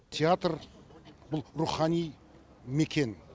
театр бұл рухани мекен